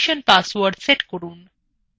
permission password set করুন